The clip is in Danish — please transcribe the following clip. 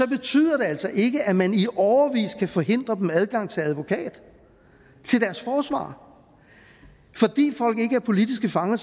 betyder det altså ikke at man i årevis kan forhindre dem adgang til en advokat til deres forsvarer fordi folk ikke er politiske fanger